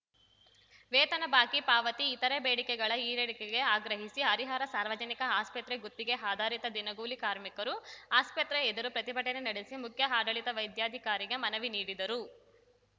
ವೇತನ ಬಾಕಿ ಪಾವತಿ ಇತರೆ ಬೇಡಿಕೆಗಳ ಈಡೇರಿಕೆಗೆ ಆಗ್ರಹಿಸಿ ಹರಿಹರ ಸಾರ್ವಜನಿಕ ಆಸ್ಪತ್ರೆ ಗುತ್ತಿಗೆ ಆಧಾರಿತ ದಿನಗೂಲಿ ಕಾರ್ಮಿಕರು ಆಸ್ಪತ್ರೆ ಎದುರು ಪ್ರತಿಭಟನೆ ನಡೆಸಿ ಮುಖ್ಯ ಆಡಳಿತ ವೈದ್ಯಾಧಿಕಾರಿಗೆ ಮನವಿ ನೀಡಿದರು